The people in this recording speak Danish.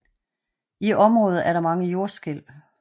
I området er der mange jordskælv